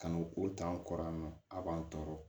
Ka n'o o ta n kɔrɔ yan nɔ a b'an tɔɔrɔ